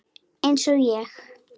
Eins og ég?